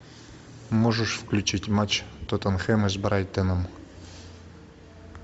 можешь включить матч тоттенхэма с брайтоном